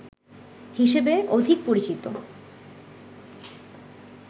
হিসেবে অধিক পরিচিত